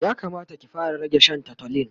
ya Kamata ki fara rage Shan tutolin